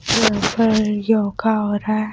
याहा पर योगा हो रहा हैं ।